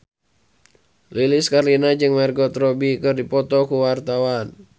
Lilis Karlina jeung Margot Robbie keur dipoto ku wartawan